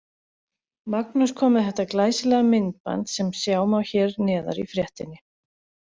Magnús kom með þetta glæsilega myndband sem sjá má hér neðar í fréttinni.